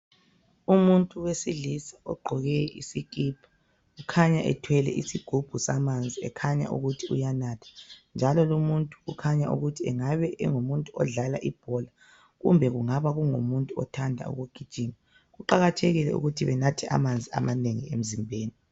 Umuntu wesilisa ogqoke isikipa ukhanya ethwele isigubhu samanzi ekhanya ukuthi uyanatha njalo lumuntu kukhanya ukuthi engabe engumuntu odlala ibhola kumbe angabe engumuntu othanda ukugijima. Kuqakathekile ukuthi benathe amanzi amanengi emzimbeni.